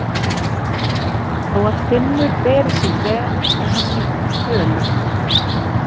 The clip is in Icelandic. Þó að Finnur beri sig vel er hann líka fölur.